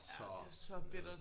Ja det var så bittert